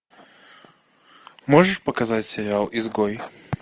можешь показать сериал изгой